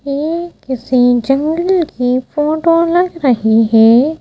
ये किसी जंगल की फोटो लग रही है।